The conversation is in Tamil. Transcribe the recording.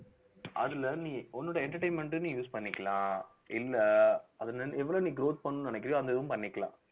அதுல நீ உன்னுடைய entertainment ன்னு நீ use பண்ணிக்கலாம் இல்ல அதுல இருந்~ எவ்வளோ நீ growth பண்ணணும்னு நினைக்கிறாயோ அந்த இதுவும் பண்ணிக்கலாம்